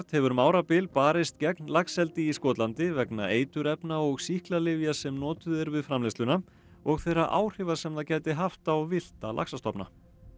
hefur um árabil barist gegn laxeldi í Skotlandi vegna eiturefna og sýklalyfja sem notuð eru við framleiðsluna og þeirra áhrifa sem það gæti haft á villta laxastofna